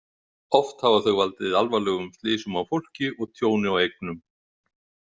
Oft hafa þau valdið alvarlegum slysum á fólki og tjóni á eignum.